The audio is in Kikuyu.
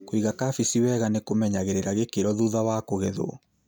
Kũiga kabeci wega nĩkũmenyagĩrĩra gĩkĩro thutha wa kũgethwo.